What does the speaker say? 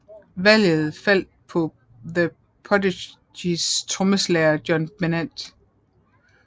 Valget faldt på The Prophecys trommeslager John Bennett